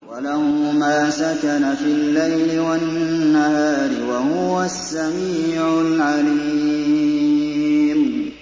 ۞ وَلَهُ مَا سَكَنَ فِي اللَّيْلِ وَالنَّهَارِ ۚ وَهُوَ السَّمِيعُ الْعَلِيمُ